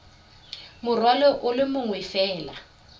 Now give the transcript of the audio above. morwalo o le mongwe fela